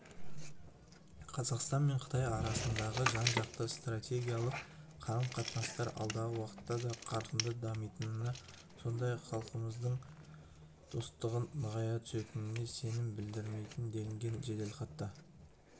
қазақстан мен қытай арасындағы жан-жақты стратегиялық қарым-қатынастар алдағы уақытта да қарқынды дамитынына сондай-ақ халықтарымыздың достығы нығая түсетініне сенім білдіремін делінген жеделхатта